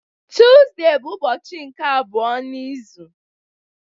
Tuzdee bụ ụbọchị nke abụọ n'izu